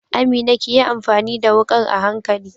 Amina kiyi amfani da wukar a hankali.